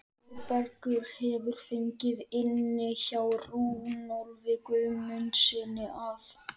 Þórbergur hefur fengið inni hjá Runólfi Guðmundssyni að